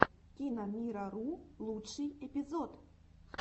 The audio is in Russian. киномирару лучший эпизод